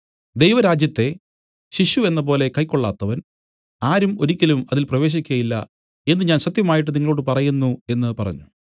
ദൈവരാജ്യത്തെ ശിശു എന്നപോലെ കൈക്കൊള്ളാത്തവൻ ആരും ഒരിക്കലും അതിൽ പ്രവേശിക്കയില്ല എന്നു ഞാൻ സത്യമായിട്ട് നിങ്ങളോടു പറയുന്നു എന്നു പറഞ്ഞു